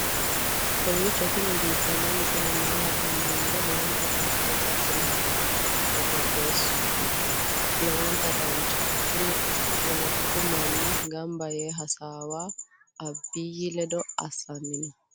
kowiicho tini biiffanno misile maa labbanno yiniro lowonta dancha gede assine haa'noonni foototi qoxeessuno lowonta danachaho. tini poletiku manni gamba yee hasaawa abiyi ledo assanni no